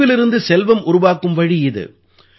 கழிவிலிருந்து செல்வம் உருவாக்கும் வழி இது